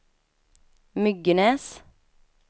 Myggenäs